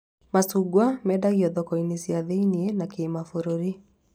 Macungwa mendagio thoko-inĩ cia thĩiniĩ na kimabũrũri